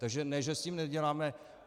Takže ne že s tím neděláme.